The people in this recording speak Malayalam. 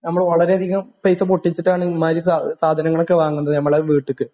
നമ്മൾ വളരെയധികം പൈസ പൊട്ടിച്ചിട്ടാണ് ഇമ്മാതിരി സാധ സാധനങ്ങളൊക്കെ വാങ്ങുന്നത് നമ്മളെ വീട്ടിക്ക്